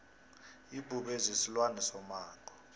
ibhubezi silwane somango